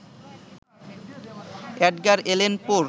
Edgar Allan পো-র